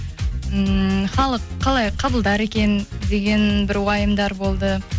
ммм халық қалай қабылдар екен деген бір уайымдар болды